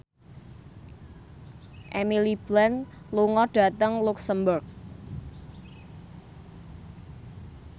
Emily Blunt lunga dhateng luxemburg